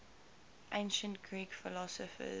ancient greek philosophers